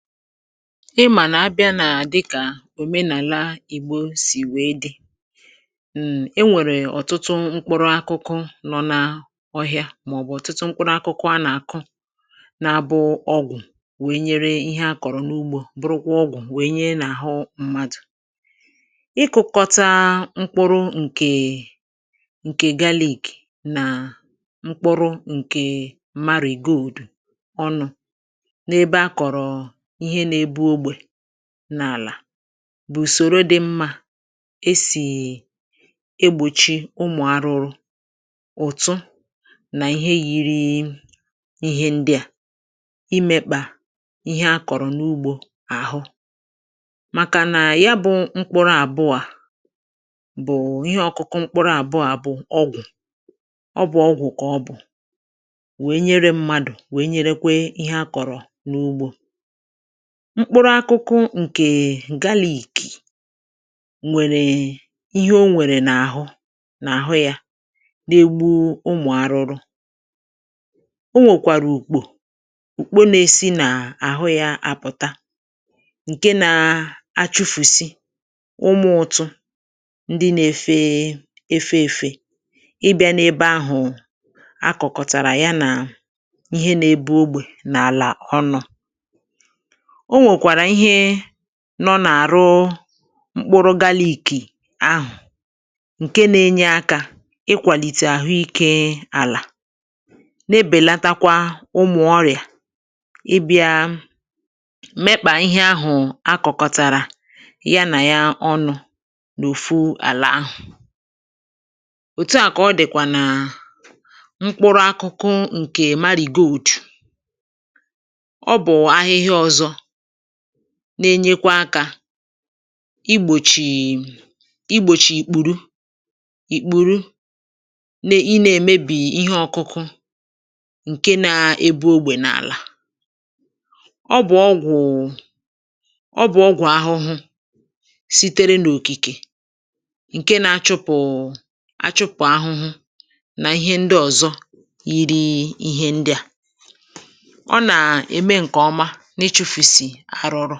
ịmà nà-abịa nà-àdịkà òmenàla ìgbo sì wèe dị̇ enwèrè ọ̀tụtụ mkpụrụ akụkụ nọ n’ọhị̇ȧ màọ̀bụ̀ ọ̀tụtụ mkpụrụ akụkụ a nà-àkụ na-abụ ọgwụ̀ wee nyere ihe akọ̀rọ̀ n’ugbȯ bụrụkwa ọgwụ̀ wee nye nà-àhụ mmadụ̀ ikukọta mkpụrụ ǹkè galik nà mkpụrụ ǹkè marìgold ọnụ̇ nȧ-ėbė ogbè n’àlà bụ̀ ùsòro dị mmȧ e sì egbòchi ụmụ̀ arụrụ̇ ùtu nà ihe yiri ihe ndị à imėkpà ihe a kọ̀rọ̀ n’ugbȯ àhụ màkà nà ya bụ̇ mkpụrụ àbụọ̇ à bụ̀ ihe ọ̇kụ̇kụ̇ mkpụrụ àbụọ̇ bụ̀ ọgwụ̀ ọbụ̀ ọgwụ̀ kà ọbụ̀ wee nyere mmadụ̀ wee nyere kwe ihe a kọ̀rọ̀ n’ugbȯ mkpụrụ akụkụ ǹkè è galìkè nwèrè ihe o nwèrè n’àhụ n’àhụ yȧ na-egbu ụmụ̀ arụrụ o nwèkwàrà ùkpò ùkpo na-esi n’àhụ yȧ apụ̀ta ǹke nȧ-achufùsi ụmụ̀ ụtụ ndị na-efe efe èfe ịbịȧ n’ebe ahụ̀ a kụ̀kụ̀tàrà ya nà ihe na-ebe ogbè n’àlà ọnọ̇ o nwèkwàrà ihe nọ n’àrụ mkpụrụ galìkì ahụ̀ ǹke na-enye akȧ ịkwàlìtè àhụ ike àlà na-ebèlatakwa ụmụ̀ ọrịà ịbịȧ mepà ihe ahụ̀ akụ̀kọtàrà ya nà ya ọnụ̇ n’òfu àlà ahụ̀ òtu à kà ọ dị̀kwà nà mkpụrụ akụkụ ǹkè mari go òtù ọ bụ̀ ahịhịa ọ̇zọ na-enyekwa akȧ igbòchì igbòchì ìkpùru ìkpùru na-ene èmebì ihe ọkụkụ ǹke na-ebu ogbè n’àlà ọ bụ̀ ọgwụ̀ ọ bụ̀ ọgwụ̀ ahụhụ sitere n’òkìkè ǹke na-achụpụ̀ achụpụ̀ ahụhụ nà ihe ndị ọ̀zọ iri ihe ndị à ọ nà-ème ǹkè ọma arụ ọrụ